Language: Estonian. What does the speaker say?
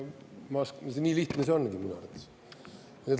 Nii lihtne see ongi minu arvates.